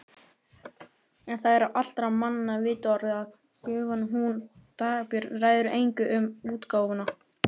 En það er á allra manna vitorði að gufan hún Dagbjört ræður engu um útgáfuna.